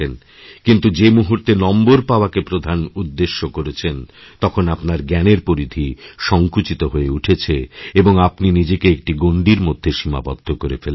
কিন্তু যে মুহূর্তেনম্বর পাওয়াকে প্রধান উদ্দেশ্য করেছেন তখন আপনার জ্ঞানের পরিধি সংকুচিত হয়ে উঠেছেএবং আপনি নিজেকে একটি গণ্ডির মধ্যে সীমাবদ্ধ করে ফেলেছেন